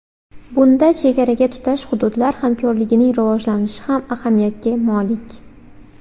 Bunda chegaraga tutash hududlar hamkorligining rivojlanishi ham ahamiyatga molik.